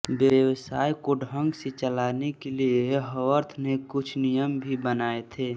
व्यवसाय को ढंग से चलाने के लिए हावर्थ ने कुछ नियम भी बनाए थे